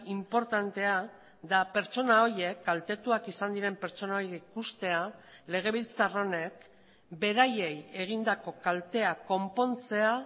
inportantea da pertsona horiek kaltetuak izan diren pertsona horiek ikustea legebiltzar honek beraiei egindako kaltea konpontzea